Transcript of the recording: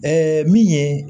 min ye